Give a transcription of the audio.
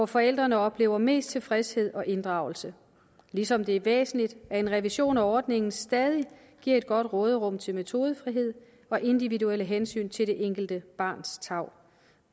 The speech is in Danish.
forældrene oplever mest tilfredshed og inddragelse ligesom det er væsentligt at en revision af ordningen stadig giver et godt råderum til metodefrihed og individuelle hensyn til det enkelte barns tarv